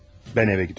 Mən evə gedirəm.